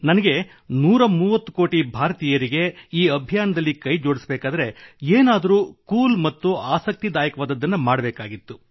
ನನಗೆ 130 ಕೋಟಿ ಭಾರತೀಯರಿಗೆ ಈ ಅಭಿಯಾನದಲ್ಲಿ ಜೋಡಿಸಬೇಕಾದರೆ ಏನಾದರೂ ಕೂಲ್ ಮತ್ತು ಆಸಕ್ತಿದಾಯಕವಾದದ್ದನ್ನು ಮಾಡಬೇಕಿತ್ತು